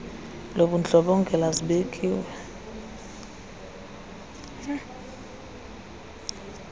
lobundlo bongela zibekiwe